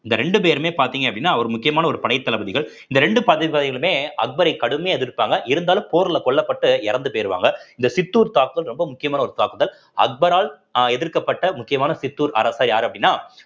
இந்த இரண்டு பேருமே பார்த்தீங்க அப்படின்னா ஒரு முக்கியமான ஒரு படைத்தளபதிகள் இந்த இரண்டு அக்பரை கடுமையா எதிர்ப்பாங்க இருந்தாலும் போர்ல கொல்லப்பட்டு இறந்து போயிருவாங்க இந்த சித்தூர் தாக்குதல் ரொம்ப முக்கியமான ஒரு தாக்குதல் அக்பரால் அஹ் எதிர்க்கப்பட்ட முக்கியமான சித்தூர் அரசன் யாரு அப்படின்னா